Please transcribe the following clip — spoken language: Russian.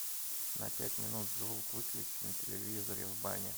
на пять минут звук выключи на телевизоре в бане